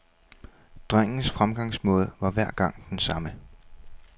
Drengens fremgangsmåde var hver gang den samme.